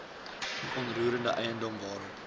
onroerende eiendom waarop